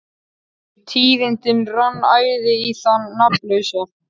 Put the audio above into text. Við tíðindin rann æði á þann nafnlausa.